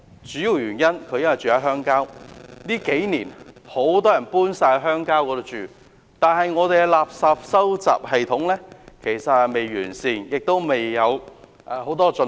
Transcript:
主要原因是他住在鄉郊，近數年，很多人搬往鄉郊居住，但我們的垃圾收集系統未臻完善，有很多需要改進的地方。